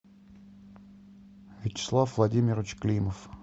вячеслав владимирович климов